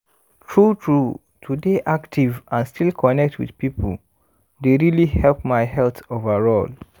true-true to dey active and still connect with people dey really help my health overall